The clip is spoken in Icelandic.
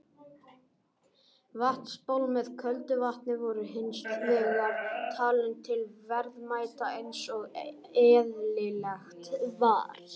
Vatnsból með köldu vatni voru hins vegar talin til verðmæta eins og eðlilegt var.